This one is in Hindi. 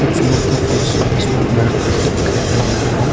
कुछ लोग का फेस जो है इसमें ब्लर करके दिखाई दे रहा है।